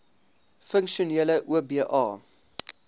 funksionele oba